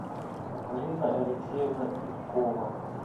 марина алексеевна ивкова